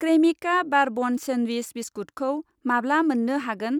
Cremica bourbon sandwich बिस्कुटखौ माब्ला मोन्नो हागोन?